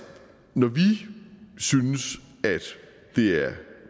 når vi synes at det er